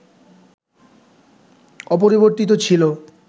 অপরিবর্তিত ছিল